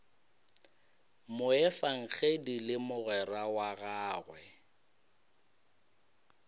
moefangedi le mogwera wa gagwe